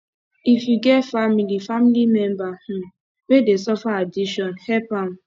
if you get family family member um wey dey suffer addiction help am